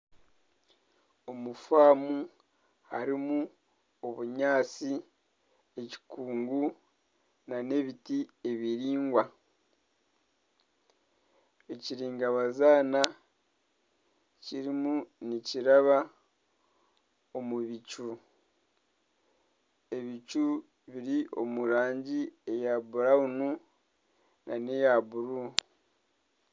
Omu faamu harimu obunyaatsi, ekikungu, nana ebiti ebiraingwa, ekiringa bazaana kirimu nikiraba omu bicu, ebicu biri omu rangi ya burawunu na eya buru